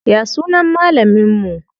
Ya sunan malamin mu?